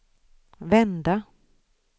vända